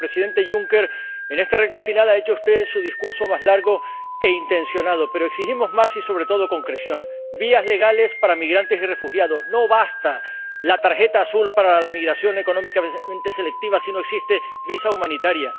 presidente Juncker, en esta recta final ha hecho usted su discurso más largo e intencionado, pero exigimos más y, sobre todo, concreción vías legales para migrantes y refugiados —no basta la tarjeta azul para la migración económicamente selectiva si no existe visado humanitario